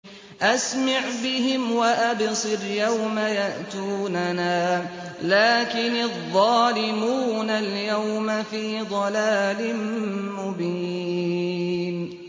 أَسْمِعْ بِهِمْ وَأَبْصِرْ يَوْمَ يَأْتُونَنَا ۖ لَٰكِنِ الظَّالِمُونَ الْيَوْمَ فِي ضَلَالٍ مُّبِينٍ